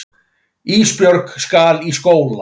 Ísbjörg skal í skóla.